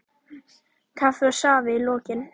Kaffi og safi í lokin.